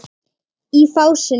Í fásinni